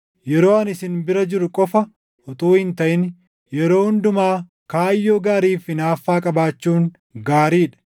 Yeroo ani isin bira jiru qofa utuu hin taʼin yeroo hundumaa kaayyoo gaariif hinaaffaa qabaachuun gaarii dha.